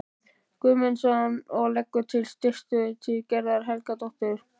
Guðmundsson og leggur til að styrkir til Gerðar Helgadóttur og